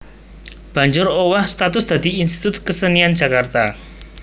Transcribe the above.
banjur owah status dadi Institut Kesenian Jakarta